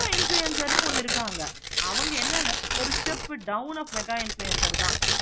mega influencer னு ஒன்னு இருக்கிறாங்க. அவங்க ஒரு step mega influencer தான்